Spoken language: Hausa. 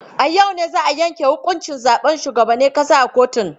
A yau ne za a yanke huƙuncin zaben shugaban ƙasa a kotun.